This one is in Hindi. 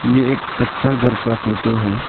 यह एक कच्चा घर का फोटो है।